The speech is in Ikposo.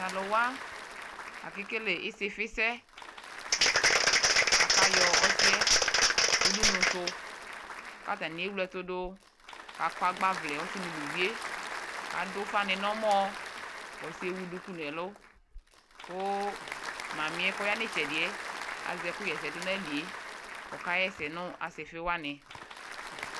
Ta lua akekele osifi sɛ aka yɔ ɔsiɛ uɖunuso ka atanie wle ɛtudo ka akɔ agba ʋlɛ asi nu uvie Ku adu uƒa ny nu ɔmɔ k'ɔsie ewu duku nu ɛlu ko mami yɛ kɔ ya ny tchɛ diɛ azɛ ɛkuyɛsɛ du na ayilie kɔka yɛsɛ nu asifi wani